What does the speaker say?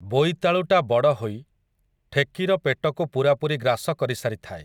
ବୋଇତାଳୁଟା ବଡ଼ହୋଇ, ଠେକିର ପେଟକୁ ପୂରାପୂରି ଗ୍ରାସ କରିସାରିଥାଏ ।